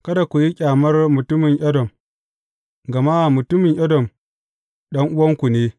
Kada ku yi ƙyamar mutumin Edom, gama mutumin Edom ɗan’uwanku ne.